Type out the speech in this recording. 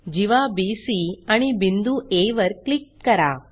जीवा BC आणि बिंदू आ वर क्लिक करा